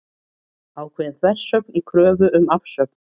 Ákveðin þversögn í kröfu um afsögn